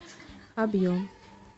объем